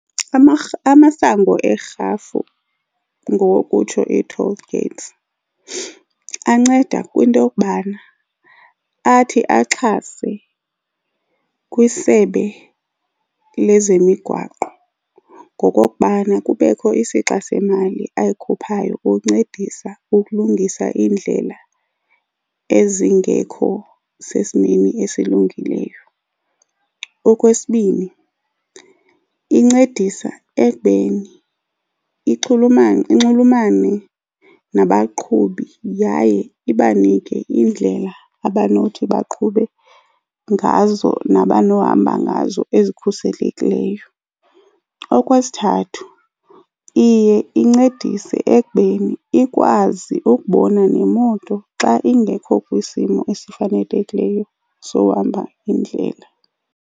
Amasango erhafu ngokokutsho i-toll gates anceda kwinto yokubana athi axhase kwisebe lezemigwaqo ngokokubana kubekho isixa semali ayikhuphayo ukuncedisa ukulungisa iindlela ezingekho sesimeni esilungileyo. Okwesibini, incedisa ekubeni inxulumane nabaqhubi yaye ibanike indlela abanothi baqhube ngazo nabanohamba ngazo ezikhuselekileyo. Okwesithathu, iye incedise ekubeni ikwazi ukubona nemoto xa ingekho kwisimo esifanekileyo sohamba indlela.